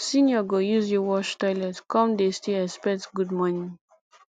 senior go use you wash toilet come dey still expect good morning